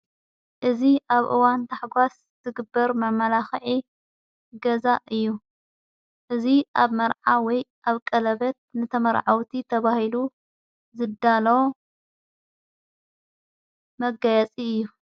እዝ ኣብ እዋን ታሕጓስ ዘግበር መመላኽዐ ገዛ እዩ እዝ ኣብ መርዓ ወይ ኣብ ቀለበት ነተመርዐወቲ ተብሂሉ ዘዳለ መጋያፂ እዩ::